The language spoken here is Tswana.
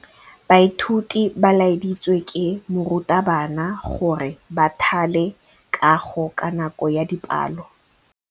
Baithuti ba laeditswe ke morutabana gore ba thale kagô ka nako ya dipalô.